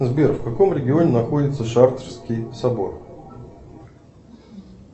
сбер в каком регионе находится шартрский собор